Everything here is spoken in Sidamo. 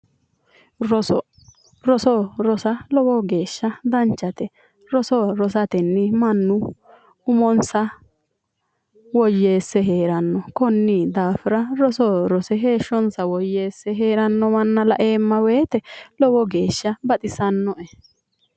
Roso, roso rosa lowo geeshsha danchate. Roso rosatenni mannu umonsa woyyeesse heeranno. Konnira roso rose heeshshonsa woyyeesse heeranno manna laeemma woyite lowo geeshsha baxisannoe.